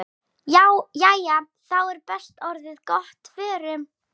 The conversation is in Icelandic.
Jæja, þá er þetta orðið gott. Förum.